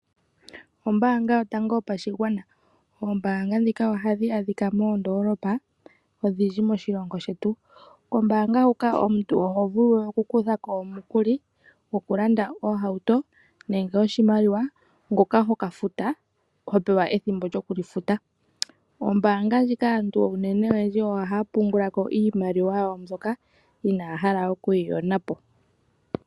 Ombaanga yotango yopashigwana. Oombaanga dhika ohadhi adhika moondoolopa, odhindji moshilongo shetu. Kombaanga ndjika omuntu ohovulu okukuthako omikuli, okulanda oohauto, nenge oshimaliwa hoka hokafuta, hopewa ethimbo, lyokudhifuta. Oombaanga ndhika aantu ohaya pungulako iimaliwa yawo mbyoka inaya hala okuyiyonapo.